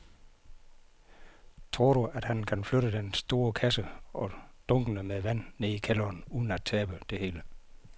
Tror du, at han kan flytte den store kasse og dunkene med vand ned i kælderen uden at tabe det hele?